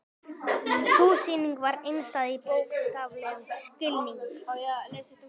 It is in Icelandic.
Sú sýning var einstæð í bókstaflegum skilningi.